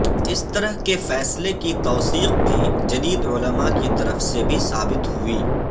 اس طرح کے فیصلے کی توثیق بھی جدید علماء کی طرف سے بھی ثابت ہوئی